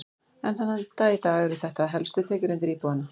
Enn þann dag í dag eru þetta helstu tekjulindir íbúanna.